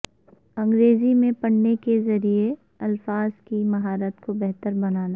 انگریزی میں پڑھنے کے ذریعے الفاظ کی مہارت کو بہتر بنانا